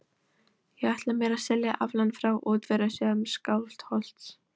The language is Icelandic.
Ég ætla mér að selja aflann frá útvegsjörðum Skálholts.